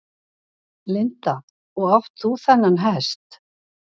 Linda: Og átt þú þennan hest?